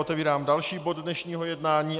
Otevírám další bod dnešního jednání.